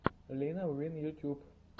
лина уин ютьюб